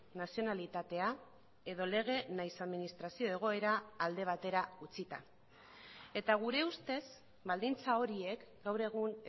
nazionalitatea edo lege nahiz administrazio egoera alde batera utzita eta gure ustez baldintza horiek gaur egun